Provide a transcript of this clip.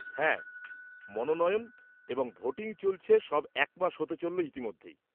হ্যাঁ, মনোনয়ন এবং ভোটিং চলছে সব এক মাস হতে চলল ইতিমধ্যেই।